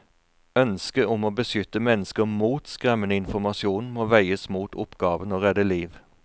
Ønsket om å beskytte mennesker mot skremmende informasjon må veies mot oppgaven å redde liv.